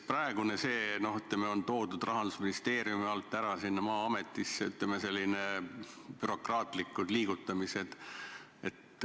Praeguse eelnõuga antakse teatav vastutus Rahandusministeeriumilt üle Maa-ametile, toimub selline bürokraatlik liigutamine.